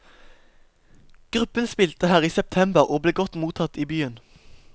Gruppen spilte her i september, og ble godt mottatt i byen.